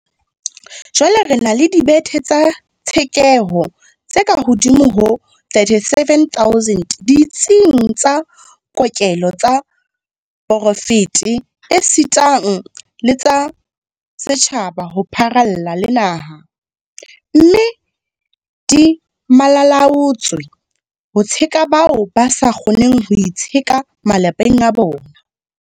Jwale re na le dibethe tsa tshekeho tse kahodimo ho 37 000 ditsing tsa kokelo tsa poraefete esita le tsa setjhaba ho pharalla le naha, mme di malala-a-laotswe ho tsheka bao ba sa kgoneng ho itsheka malapeng a bona.